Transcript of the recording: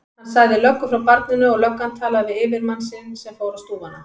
Hann sagði löggu frá barninu og löggan talaði við yfirmann sinn sem fór á stúfana.